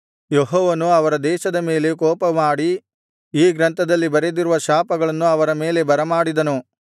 ಯೆಹೋವನು ಅವರ ದೇಶದ ಮೇಲೆ ಕೋಪಮಾಡಿ ಈ ಗ್ರಂಥದಲ್ಲಿ ಬರೆದಿರುವ ಶಾಪಗಳನ್ನು ಅವರ ಮೇಲೆ ಬರಮಾಡಿದನು